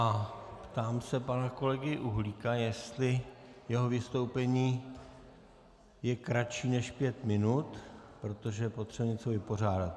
A ptám se pana kolegy Uhlíka, jestli jeho vystoupení je kratší než pět minut, protože potřebujeme něco vypořádat.